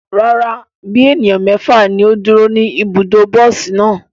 Rara, bi eniyan mẹfa ni o duro ni ibudo bosi naa